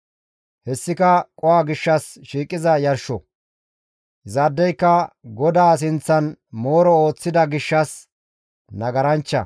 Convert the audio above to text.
Hessika qoho gishshas shiiqiza yarsho; izaadeyka GODAA sinththan mooro ooththida gishshas nagaranchcha.»